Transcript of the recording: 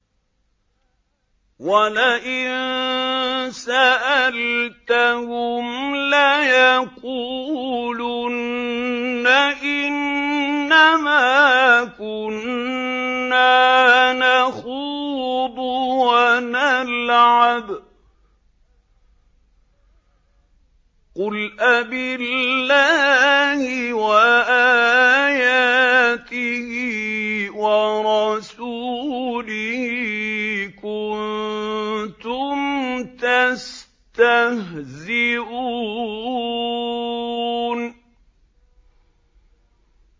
وَلَئِن سَأَلْتَهُمْ لَيَقُولُنَّ إِنَّمَا كُنَّا نَخُوضُ وَنَلْعَبُ ۚ قُلْ أَبِاللَّهِ وَآيَاتِهِ وَرَسُولِهِ كُنتُمْ تَسْتَهْزِئُونَ